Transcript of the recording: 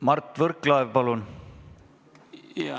Mart Võrklaev, palun!